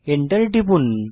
Enter টিপুন